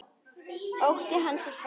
Ótti hans er fokinn.